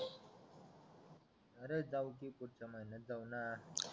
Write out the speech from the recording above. अरे जाऊ की पुढच्या महिन्यात जाऊ ना